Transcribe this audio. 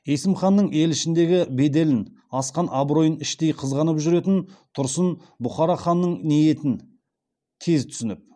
есім ханның ел ішіндегі беделін асқан абыройын іштей қызғанып жүретін тұрсын бұхара ханының ниетін тез түсініп